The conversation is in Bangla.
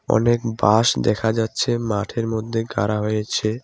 অনেক বাঁশ দেখা যাচ্ছে মাঠের মধ্যে গাড়া হয়েছে।